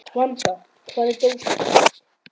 Vanda, hvar er dótið mitt?